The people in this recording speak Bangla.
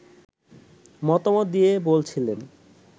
মতামত দিয়ে বলছিলেন